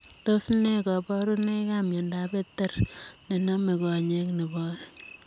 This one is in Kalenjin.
Tos nee kabarunoik ap miondoop Batter nenomee konyee nepoo oeng?